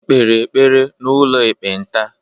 e kpere ekpere n’ụlọ ekpenta